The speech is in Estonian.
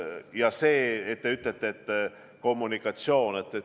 Nüüd see, mis te ütlete kommunikatsiooni kohta.